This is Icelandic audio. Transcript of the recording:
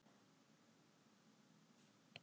Þetta er nokkuð stór hópur.